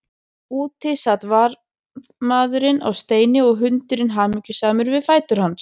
Úti sat varðmaðurinn á steini og hundurinn hamingjusamur við fætur hans.